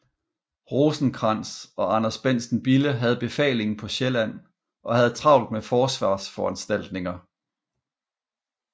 Rosenkrantz og Anders Bentsen Bille havde befalingen på Sjælland og havde travlt med forsvarsforanstaltninger